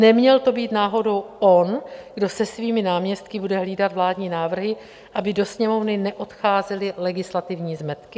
Neměl to být náhodou on, kdo se svými náměstky bude hlídat vládní návrhy, aby do Sněmovny neodcházely legislativní zmetky?